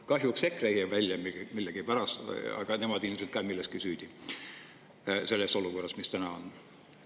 Kahjuks EKRE jäi välja millegipärast, aga nemad on ilmselt ka milleski süüdi, selles olukorras, mis täna on.